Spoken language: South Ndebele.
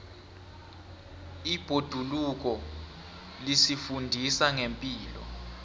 ibhoduluko lisifundisa ngepilo